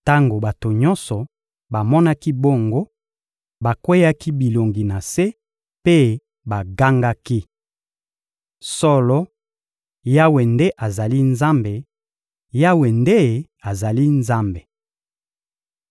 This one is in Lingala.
Tango bato nyonso bamonaki bongo, bakweyaki bilongi na se mpe bagangaki: — Solo, Yawe nde azali Nzambe; Yawe nde azali Nzambe!